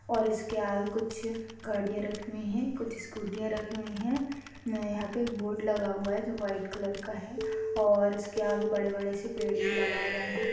और इसके आगे कुछ गाड़िया रखी हुई हैंकुछ स्कूटीया रखी हुई हैंउम्म यहा एक बोर्ड लगा हुआ हैं जो व्हाइट कलर का हैंऔर इसके आगे बड़े-बड़े से पेड़ भी लगाए गए हैं।